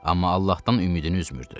Amma Allahdan ümidini üzmürdü.